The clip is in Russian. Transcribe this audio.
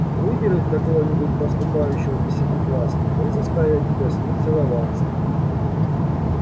выберут какого-нибудь поступающего десятиклассника и заставят тебя с ним целоваться